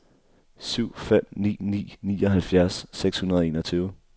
syv fem ni ni nioghalvfjerds seks hundrede og enogtyve